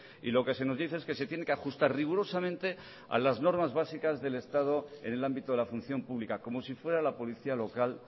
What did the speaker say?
y lo que se nos dice es que se tiene que ajustar rigurosamente a las normas básicas del estado en el ámbito de la función pública como si fuera la policía local